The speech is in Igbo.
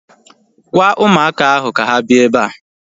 Gwaa ụmụaka ahu ka ha bịa ebea